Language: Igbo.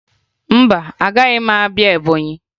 Mba, agaghị m abịa Ebọnyị